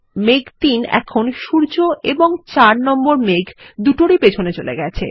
মেঘ ৩ এখন সূর্য এবং মেঘ ৪ এর দুটোরই পিছনে চলে গেছে